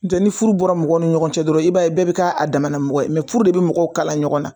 Cɛ ni furu bɔra mɔgɔ ni ɲɔgɔn cɛ dɔrɔn i b'a ye bɛɛ bɛ k'a dama mɔgɔ ye furu de bɛ mɔgɔw kala ɲɔgɔnna